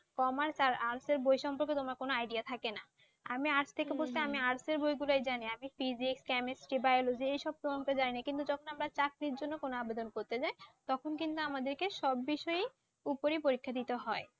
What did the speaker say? Commerce আর Art এর বইগুলো সম্পর্কে তোমার কোন Idea থাকে না আমি আজ থেকে পড়ছি আমি Art এর বইগুলোই জানি। আমি physics chemistry Biology এসব পর্যন্ত জানি যখন আমরা চাকরির জন্য কোন আবেদন করতে যাই তখন কিন্তু আমাদেরকে সব বিষয়ের ওপরেই পরীক্ষা দিতে হয়